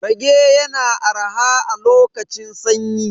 Rage yana arha a lokacin sanyi.